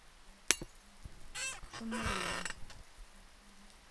шумерля